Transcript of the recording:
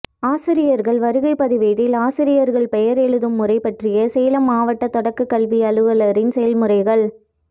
ஆசிரியர்கள் வருகைப்பதிவேட்டில் ஆசிரியர்கள் பெயர் எழுதும் முறை பற்றிய சேலம் மாவட்ட தொடக்கக் கல்வி அலுவலரின் செயல்முறைகள்